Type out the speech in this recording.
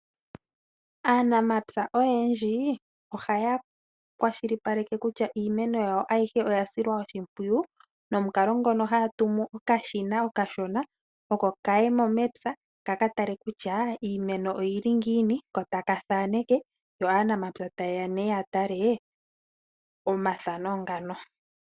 Aanamapya oyendji ohaya kwashilipaleke kutya iimeno yawo ayihe oya silwa oshimpwiyu nomukalo ngono haya tumu okashina okashona, oko kaye mo mepya, ka ka tale kutya iimeno oyili ngiini, ko taka thaaneke, yo aanamapya taye ya nee ya tale omathano ngano.